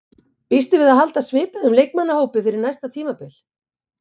Býstu við að halda svipuðum leikmannahóp fyrir næsta tímabil?